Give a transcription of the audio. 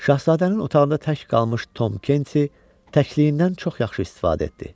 Şahzadənin otağında tək qalmış Tom Kent təhlikliyindən çox yaxşı istifadə etdi.